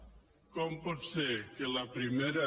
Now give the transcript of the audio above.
com pot ser que la primera